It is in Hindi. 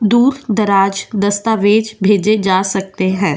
दूर दराज दस्तावेज भेजे जा सकते हैं।